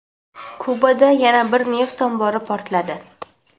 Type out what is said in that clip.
Kubada yana bir neft ombori portladi.